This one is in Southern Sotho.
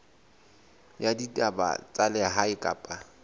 ya ditaba tsa lehae kapa